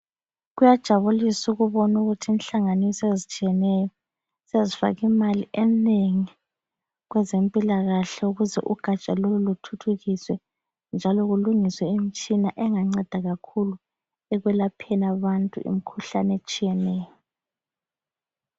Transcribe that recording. Kuyajabulis' ukubon' ukuthi inhlanganiso eztshiyeneyo, sezifak' imali enengi kwezempilakahle ukuze ugatsha lolu luthuthukiswe njalo kulungiswe imitshina enganceda kakhulu ekwelapheni abantu imikhuhlan' etshiyeneyo.